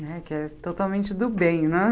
É, que é totalmente do bem, né?